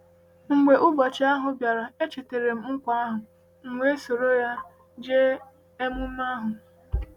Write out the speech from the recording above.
Mgbe ụbọchị ahụ bịara, echetara m nkwa ahụ, m wee soro ya jee emume ahụ.